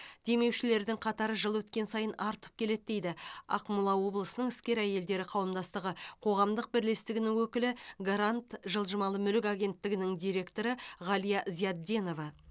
демеушілердің қатары жыл өткен сайын артып келеді дейді ақмола облысының іскер әйелдері қауымдастығы қоғамдық бірлестігінің өкілі гарант жылжымалы мүлік агенттігінің директоры ғалия зиядденова